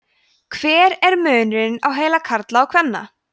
hver er munurinn á heila karla og kvenna